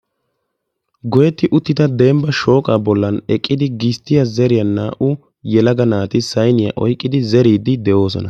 Goyetti uttidda dembba shooqa bolla naa'u naati zeriddi de'osonna.